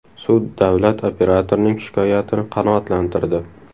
Sud davlat operatorining shikoyatini qanoatlantirdi.